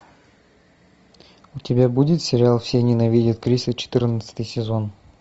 у тебя будет сериал все ненавидят криса четырнадцатый сезон